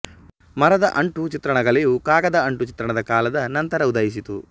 ಮರದ ಅಂಟು ಚಿತ್ರಣ ಕಲೆ ಯು ಕಾಗದ ಅಂಟು ಚಿತ್ರಣದ ಕಾಲದ ನಂತರ ಉದಯಿಸಿತು